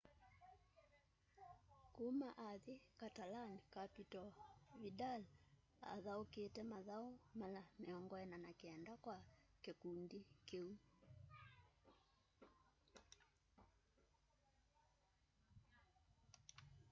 kũma athĩ catalan-capital vidal athaũkĩte mathaũ mala 49 kwa kĩkũndĩ kĩũ